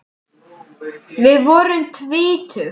Við vorum tvítug.